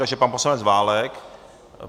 Takže pan poslanec Válek.